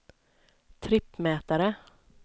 trippmätare